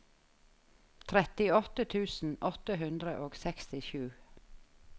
trettiåtte tusen åtte hundre og sekstisju